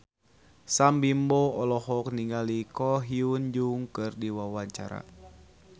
Sam Bimbo olohok ningali Ko Hyun Jung keur diwawancara